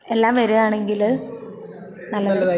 എല്ലാം വരുവാണെങ്കില് നല്ലതായിരിക്കും.